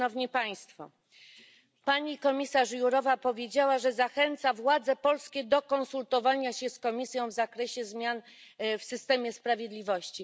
Pani komisarz Jourová powiedziała, że zachęca władze polskie do konsultowania się z Komisją w zakresie zmian w systemie sprawiedliwości.